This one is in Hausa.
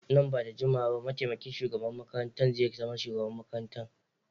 Nan ba da jimawa ba mataimakin shugaban makarantar zai zama shugaban makarantar.